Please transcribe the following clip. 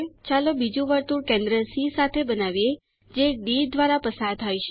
ચાલો બીજું વર્તુળ કેન્દ્ર સી સાથે બનાવીએ જે ડી દ્વારા પસાર થાય છે